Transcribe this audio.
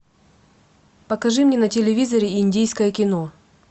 покажи мне на телевизоре индийское кино